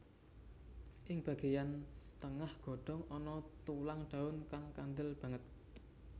Ing bagéyan tengah godhong ana tulang daun kang kandel banget